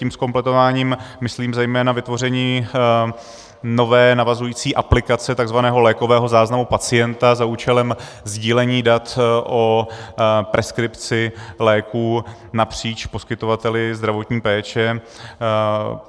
Tím zkompletováním myslím zejména vytvoření nové navazující aplikace tzv. lékového záznamu pacienta za účelem sdílení dat o preskripci léků napříč poskytovateli zdravotní péče.